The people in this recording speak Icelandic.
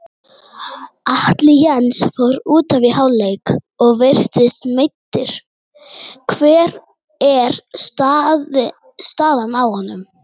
Atli Jens fór útaf í hálfleik og virtist meiddur, hver er staðan á honum?